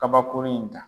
Kabakurun in ta